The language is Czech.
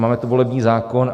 Máme tu volební zákon.